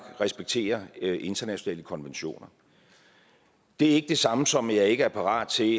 respekterer internationale konventioner det er ikke det samme som at jeg ikke er parat til